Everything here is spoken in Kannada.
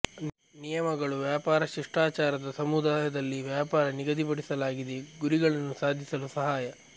ನಿಯಮಗಳು ವ್ಯಾಪಾರ ಶಿಷ್ಟಾಚಾರದ ಸಮುದಾಯದಲ್ಲಿ ವ್ಯಾಪಾರ ನಿಗದಿಪಡಿಸಲಾಗಿದೆ ಗುರಿಗಳನ್ನು ಸಾಧಿಸಲು ಸಹಾಯ